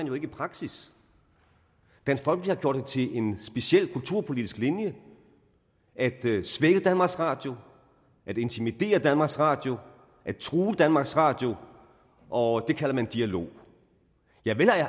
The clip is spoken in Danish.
jo ikke i praksis dansk folkeparti en speciel kulturpolitisk linje at svække danmarks radio at intimidere danmarks radio at true danmarks radio og det kalder man for dialog vel